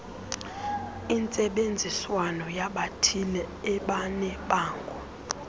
intsebenziswano yabathile ebanebango